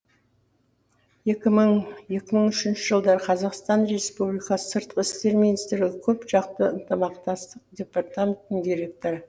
екі мың екі мың үшінші жылдары қазақстан республикасы сыртқы істер министрлігі көп жақты ынтымақтастық департаментінің директоры